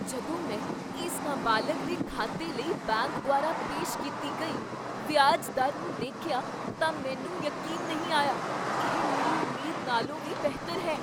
ਜਦੋਂ ਮੈਂ ਇਸ ਨਾਬਾਲਗ ਦੇ ਖਾਤੇ ਲਈ ਬੈਂਕ ਦੁਆਰਾ ਪੇਸ਼ ਕੀਤੀ ਗਈ ਵਿਆਜ ਦਰ ਨੂੰ ਦੇਖਿਆ ਤਾਂ ਮੈਨੂੰ ਯਕੀਨ ਨਹੀਂ ਆਇਆ! ਇਹ ਮੇਰੀ ਉਮੀਦ ਨਾਲੋਂ ਵੀ ਬਿਹਤਰ ਹੈ।